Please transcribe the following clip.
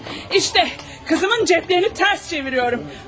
Bax, qızımın cibləriini tərsinə çevirirəm.